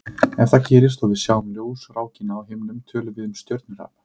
Ef það gerist og við sjáum ljósrákina á himninum tölum við um stjörnuhrap.